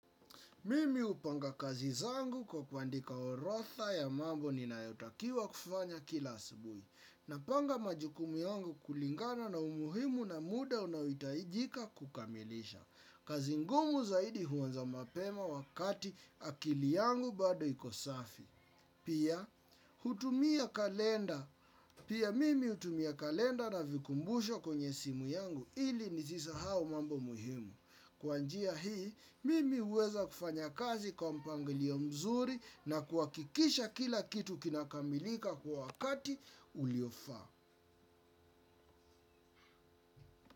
Mimi upanga kazi zangu kwa kuandika orodha ya mambo ninayotakiwa kufanya kila asubuhi. Napanga majukumu yangu kulingana na umuhimu na muda unaoitaijika kukamilisha. Kazi ngumu zaidi huanza mapema wakati akili yangu bado iko safi. Pia, mimi hutumia kalenda na vikumbusho kwenye simu yangu ili nisisahau mambo muhimu. Kwa njia hii, mimi uweza kufanya kazi kwa mpangilio mzuri na kuwakikisha kila kitu kinakamilika kwa wakati uliofaa.